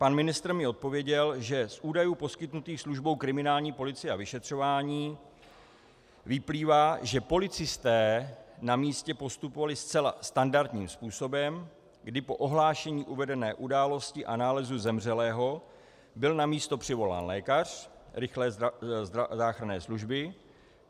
Pan ministr mi odpověděl, že z údajů poskytnutých službou kriminální policie a vyšetřování vyplývá, že policisté na místě postupovali zcela standardním způsobem, kdy po ohlášení uvedené události a nálezu zemřelého byl na místo přivolán lékař rychlé záchranné služby.